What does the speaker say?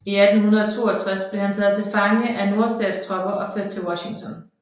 I 1862 blev han taget til fange af nordstatstropper og ført til Washington